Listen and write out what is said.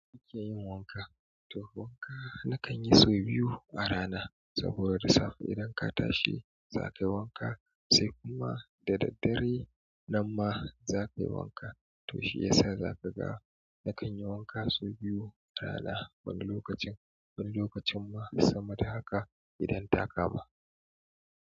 Kike yin wanka? To wanka na kan yi sau biyu a rana saboda da safe idan ka tashi za kayi wanka, sai kuma da daddare nan ma za kayi wanka. To shi yasa zaka ga nakanyi wanka sau biyu a rana wani lokacin, wani lokacin ma sama da haka idan ta kama.